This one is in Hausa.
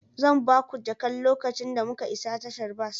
Zan ba ku jakar lokacin da muka isa tashar bas.